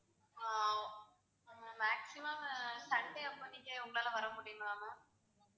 ஆஹ் maximum sunday அப்போ நீங்க உங்களால வர முடியுங்களா ma'am